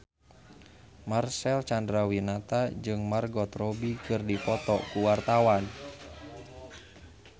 Marcel Chandrawinata jeung Margot Robbie keur dipoto ku wartawan